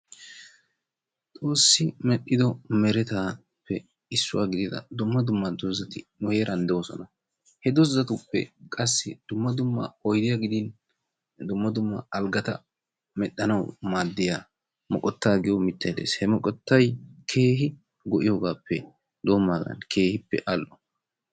Xoossi medhdhido merettaappe issuwaa gidida dumma dumma doozati nu heeran de'oosona. He doozatuppe qassi dumma dumma oydiyaa gidin dumma dumma alggati medhdhanawu maaddiyaa moqottaa giyoo miitay de"ees. Ha moqottay keehi go"iyoogappe dendaagan keehi al"o.